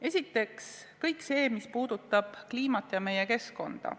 Esiteks kõik see, mis puudutab kliimat ja meie keskkonda.